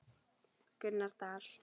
Gunnar Dal.